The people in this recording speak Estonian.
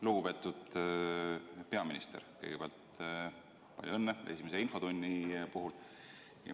Lugupeetud peaminister, kõigepealt palju õnne esimese infotunni puhul!